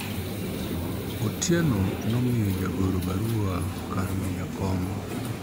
Otieno ne omiyo jagoro barua kar miyo jakom